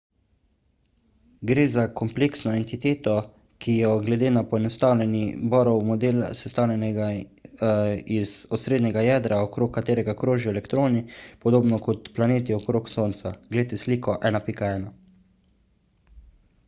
gre za kompleksno entiteto ki je glede na poenostavljeni bohrov model sestavljena iz osrednjega jedra okrog katerega krožijo elektroni podobno kot planeti okrog sonca – glejte sliko 1.1